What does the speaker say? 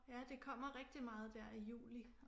Ja det kommer rigtig meget der i juli